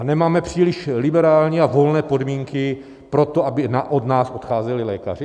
A nemáme příliš liberální a volné podmínky pro to, aby od nás odcházeli lékaři?